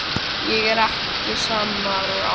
Ég er ekki sami maður og áður.